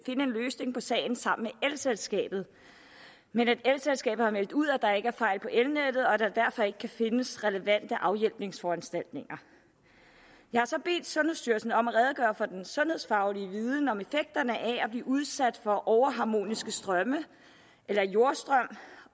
en løsning på sagen sammen med elselskabet men at elselskabet har meldt ud at der ikke er fejl på elnettet og at der derfor ikke kan findes relevante afhjælpningsforanstaltninger jeg har så bedt sundhedsstyrelsen om at redegøre for den sundhedsfaglige viden om effekterne af at blive udsat for overharmoniske strømme eller jordstrøm